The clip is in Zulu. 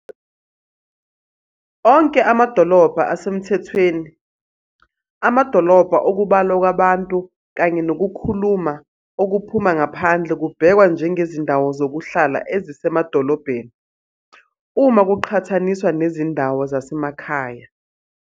Onke amadolobha asemthethweni, amadolobha okubalwa kwabantu kanye nokukhula okuphuma ngaphandle kubhekwa njengezindawo zokuhlala ezisemadolobheni, uma kuqhathaniswa nezindawo zasemakhaya.